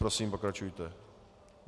Prosím, pokračujte.